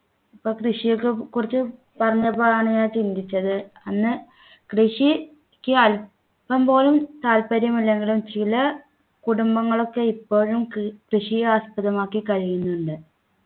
ഇപ്പൊ കൃഷിയൊക്കെ കുറിച്ച് പറഞ്ഞപ്പോഴാണ് ഞാൻ ചിന്തിച്ചത് അന്ന് കൃഷി ക്ക് അല്പം പോലും താൽപര്യമില്ലെങ്കിലും ചില കുടുംബങ്ങളൊക്കെ ഇപ്പോഴും ക് കൃഷിയെ ആസ്പദമാക്കി കഴിയുന്നുണ്ട്